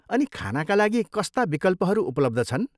अनि खानाका लागि कस्ता विकल्पहरू उपलब्ध छन्?